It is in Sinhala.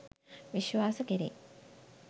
විශ්වාස කෙරේ